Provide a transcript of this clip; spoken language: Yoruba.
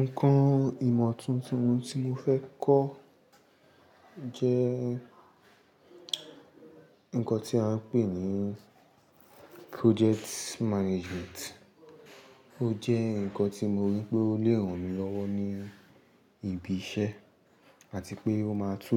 Nǹkan ìmọ̀ tuntun tí mo fẹ́ kọ jẹ́ ǹkan tí a ń pè ní project management. Ó jẹ́ ǹkan tí mo rí pé ó lè ràn mí lọ́wọ́ ní ibi iṣẹ́ àti pé ó máa tú